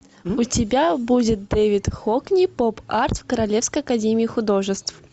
у тебя будет дэвид хокни поп арт в королевской академии художеств